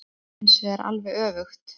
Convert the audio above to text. Í dag var það hinsvegar alveg öfugt.